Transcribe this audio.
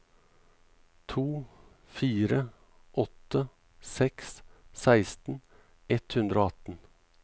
to fire åtte seks seksten ett hundre og atten